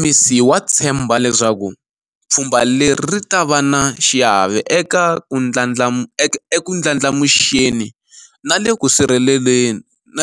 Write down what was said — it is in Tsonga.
MEC wa tshemba leswaku pfhumba leri ri ta va na xiave eku ndlandlamuxeni na